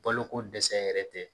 Baloko dɛsɛ yɛrɛ tɛ.